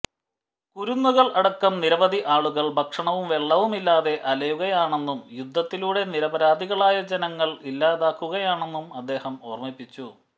കുരുന്നുകൾ അടക്കം നിരവധി ആളുകൾ ഭക്ഷണവും വെള്ളവുമില്ലാതെ അലയുകയാണെന്നും യുദ്ധത്തിലൂടെ നിരപരാധികളായ ജനങ്ങൾ ഇല്ലാതാകുകയാണെന്നും അദ്ദേഹം ഓർമ്മിപ്പിച്ചു